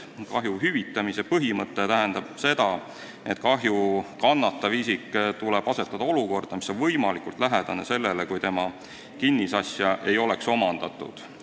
Kahju hüvitamise põhimõte tähendab seda, et kahju kannatavale isikule tuleb võimaldada olukorda, mis on võimalikult lähedane sellele, kui tema kinnisasja ei oleks omandatud.